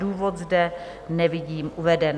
Důvod zde nevidím uveden.